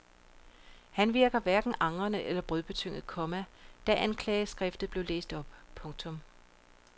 Han virkede hverken angrende eller brødebetynget, komma da anklageskriftet blev læst op. punktum